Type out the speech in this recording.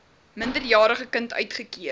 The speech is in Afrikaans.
minderjarige kind uitgekeer